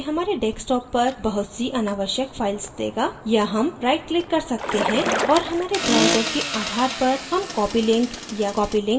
या हम right click कर सकते हैं और हमारे browser के आधार पर हम copy link या copy link location में से एक देखेंगे